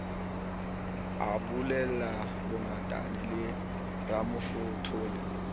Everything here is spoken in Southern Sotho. ho bulela bongatane le ramafothole